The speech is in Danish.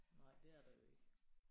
Nej det er der jo ikke